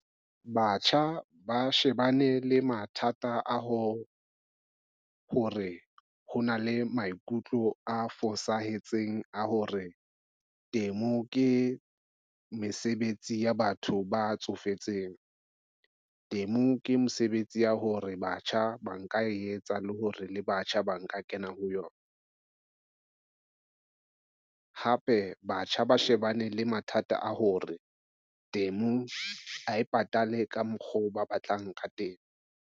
Batjha ba shebane le mathata a ho hore ho na le maikutlo a fosahetseng a hore temo ke mesebetsi ya batho ba tsofetseng. Temo ke mosebetsi ya hore batjha ba nka etsa le hore le batjha ba nka kena ho yona. Hape batjha ba shebane le mathata a hore temo ha e patale ka mokgo ba batlang ka teng.